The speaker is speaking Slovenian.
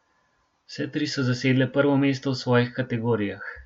Vse tri so zasedle prvo mesto v svojih kategorijah.